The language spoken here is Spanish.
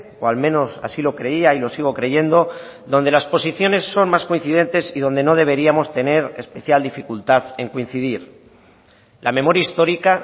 o al menos así lo creía y lo sigo creyendo donde las posiciones son más coincidentes y donde no deberíamos tener especial dificultad en coincidir la memoria histórica